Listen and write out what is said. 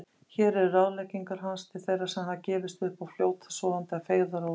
Hér eru ráðleggingar hans til þeirra sem hafa gefist upp og fljóta sofandi að feigðarósi